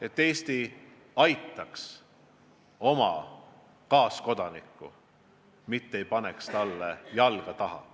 Et Eesti aitaks oma kodanikku, mitte ei paneks talle jalga taha.